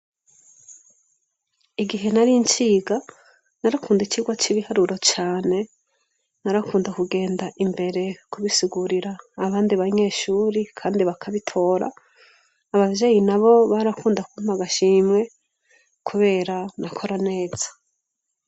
Igihe nari nciga narakunda icigwa c'ibiharuro cane narakunda kugenda imbere kubisugurira abandi banyeshuri kandi bakabitora abavyeyi nabo barakunda kumpa agashimwe kubera nakora neza.